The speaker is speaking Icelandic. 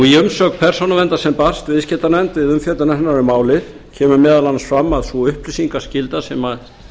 í umsögn persónuverndar sem barst viðskiptanefnd við umfjöllun hennar um málið kemur meðal annars fram að sú upplýsingaskylda sem